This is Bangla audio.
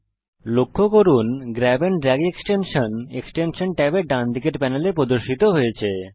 লক্ষ্য করুন grab and drag extension extension ট্যাবের ডানদিকের প্যানেলে প্রদর্শিত হয়েছে